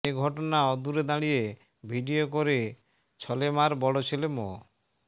এ ঘটনা অদূরে দাঁড়িয়ে ভিডিও করে ছলেমার বড় ছেলে মো